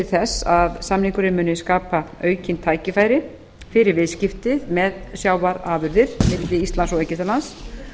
þess að samningurinn muni skapa aukin tækifæri fyrir viðskipti með sjávarafurðir milli íslands og egyptalands